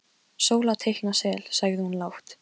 Sóla teikna sel, sagði hún lágt.